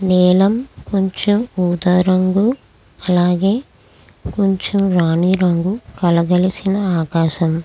నీలం కొంచం ఊదారంగు అలాగే కొంచం రాణి రంగు కలగలిసిన ఆకాశం.